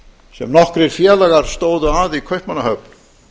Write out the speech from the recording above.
sem nokkrir félagar stóðu að í kaupmannahöfn